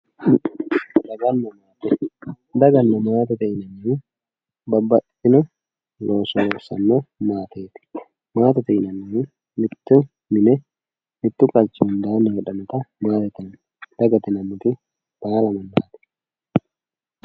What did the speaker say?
Daganna maate, daganna maate yineemmohu babbaxxitino looso loossano maate, maatete yinannihu mitto mine mitu qachi giddoni heedhanotta maatete yineemmo dagate yineemmoti ayeerano xawoho